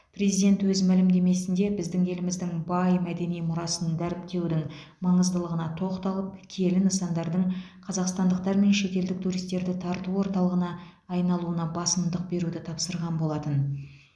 президент өз мәлімдемесінде біздің еліміздің бай мәдени мұрасын дәріптеудің маңыздылығына тоқталып киелі нысандардың қазақстандықтар мен шетелдік туристерді тарту орталығына айналуына басымдық беруді тапсырған болатын